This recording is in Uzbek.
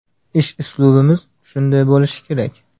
Ish uslubimiz shunday bo‘lishi kerak.